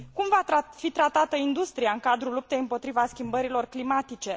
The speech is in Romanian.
Cum va fi tratată industria în cadrul luptei împotriva schimbărilor climatice?